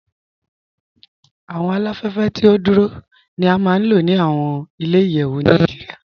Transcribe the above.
Awọn aláfẹ̀fẹ̀ tí o dúró ni à máa n lọ ni awọn ilẹ̀-ìyẹ̀wù Naijíríà.